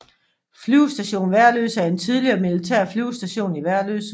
Flyvestation Værløse er en tidligere militær flyvestation i Værløse